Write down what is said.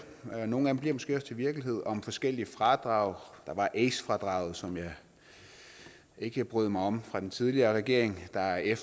nogle af dem bliver måske også til virkelighed om forskellige fradrag der var ace fradraget som jeg ikke brød mig om fra den tidligere regering der er